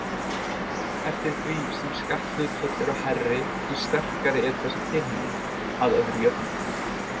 Eftir því sem skatthlutföll eru hærri, því sterkari er þessi tilhneiging, að öðru jöfnu.